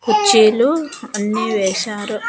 కుర్చీలు అన్నీ వేశారు.